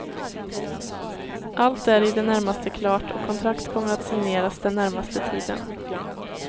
Allt är i det närmaste klart och kontrakt kommer att signeras den närmaste tiden.